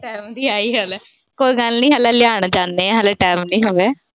ਸਭ ਦਾ ਇਹੀ ਹਾਲ ਏ। ਕੋਈ ਗੱਲ ਨੀ ਹਾਲੇ ਹਾਲੇ ਹੋਗੇ।